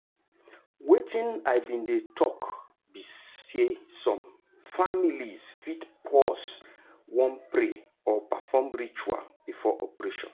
wetin i bin dey talk be saysome families fit pause wan pray or perform ritual before operation